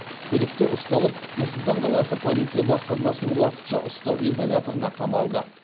күдікті ұсталып нұр сұлтан қаласы полиция басқармасының уақытша ұстау изоляторына қамалды